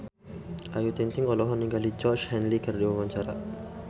Ayu Ting-ting olohok ningali Georgie Henley keur diwawancara